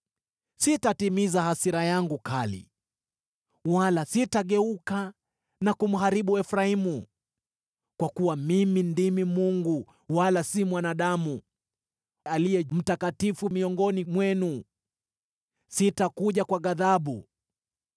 Sitatimiza hasira yangu kali, wala sitageuka na kumharibu Efraimu. Kwa kuwa mimi ndimi Mungu, wala si mwanadamu, Aliye Mtakatifu miongoni mwenu. Sitakuja kwa ghadhabu.